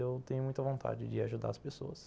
Eu tenho muita vontade de ajudar as pessoas.